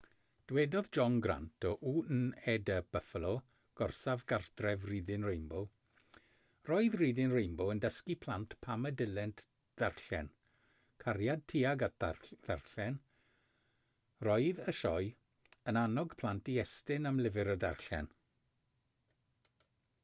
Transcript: dywedodd john grant o wned buffalo gorsaf gartref reading rainbow roedd reading rainbow yn dysgu plant pam y dylent ddarllen,...cariad tuag at ddarllen - roedd [y sioe] yn annog plant i estyn am lyfr a darllen